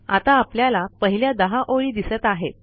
आता आपल्याला पहिल्या 10 ओळी दिसत आहेत